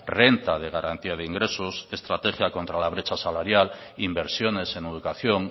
renta de garantía de ingresos estrategia contra la brecha salarial inversiones en educación